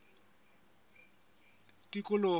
tikoloho